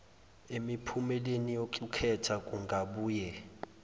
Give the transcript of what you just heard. emiphumeleni yokukhetha kungabuye